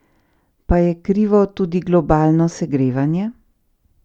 Pa je krivo tudi globalno segrevanje?